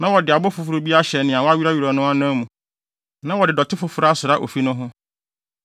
Na wɔde abo foforo bi abɛhyɛ nea wɔwerɛwerɛw no anan na wɔde dɔte foforo asra ofi no ho.